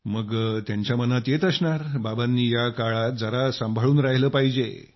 मग त्यांच्या मनात येत असणार बाबांनी या काळात जरा संभाळून राहिलं पाहिजे